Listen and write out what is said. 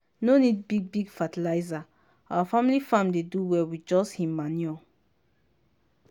no need big big fertilizer our family farm dey do well with just him manure.